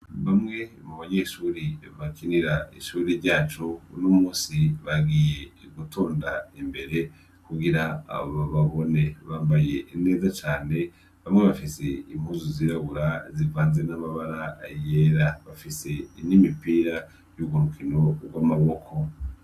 Bamwe mu banyeshure bakinira ishuri ryacu, uno munsi bagiye gutonda imbere kugira bababone. Bmabaye neza cane, bamwe bafise impuzu zirabura zivanze n'amabara yera. Bafise n'imipira y'urwo rukino rw'amaboko.